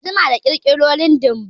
Ba'a jima da ƙirƙiro lindin ba